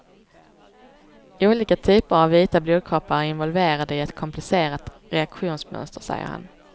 Olika typer av vita blodkroppar är involverade i ett komplicerat reaktionsmönster, säger han.